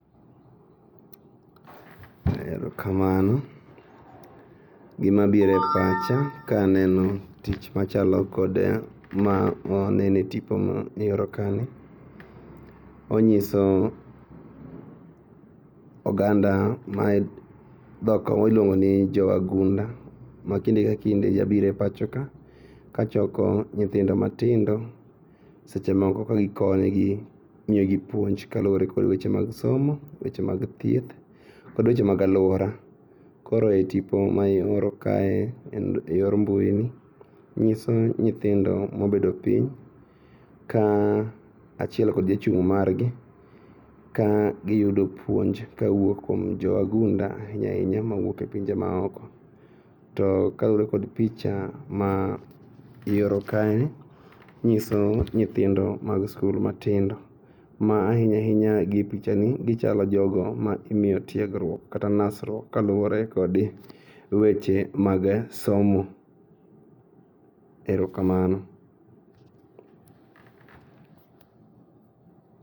Erokamano .Gimabire pacha kaneno tich machalo kod ma wanene tipo mioro ka ni onyiso oganda ma dhok miluongoni jowagunda ma kinde ka kinde jabiro e pachoka kachoko nyithindo matindo seche moko ka gikonyogi miyogi puonj kaluore kod weche mag somo weche mag thieth kod weche mag aluora. Koro e tipo ma ioro kae e yor mbuini nyiso nyithindo mobedo piny ka achiel kod jachung' margi ka giyudo puonj ka wuok kuom jowagunda ainyainya mawuoke pinje maoko. To kalure kod picha maioro kae nyiso nyithindo mag skul matindo ma ainyainya gi e pichani gichalo jogo ma imiyo tiergruok kata nasruok kaluore kodi weche mag somo. Erokamano.